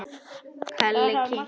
Lalli kinkaði kolli hrifinn.